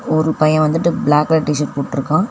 ஒரு பைய வந்துட்டு பிளாக் கலர் டிஷர்ட் போட்ருக்கா.